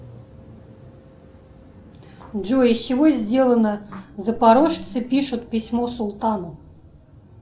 джой из чего сделано запорожцы пишут письмо султану